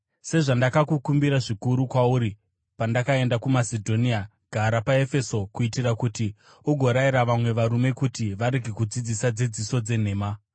Sezvandakakumbira zvikuru kwauri pandakaenda kuMasedhonia, gara paEfeso kuitira kuti ugorayira vamwe varume kuti varege kudzidzisa dzidziso dzenhema,